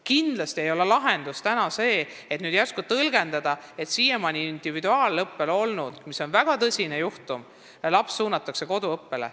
Kindlasti ei ole lahendus see, kui nüüd järsku tõlgendatakse olukorda nii, et siiamaani individuaalõppel olnud laps suunatakse koduõppele.